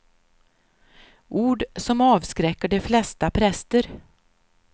Ord som avskräcker de flesta präster.